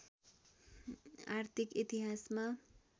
आर्थिक इतिहासमा